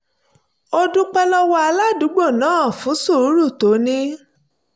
ó dúpẹ́ lọ́wọ́ aládùúgbò náà fún sùúrù tó ní